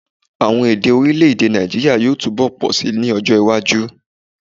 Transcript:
Àwon èdè orílẹ̀-èdè Nàìjíírià yóò túbọ̀ pọ̀ síi lọ́jọ́ iwájú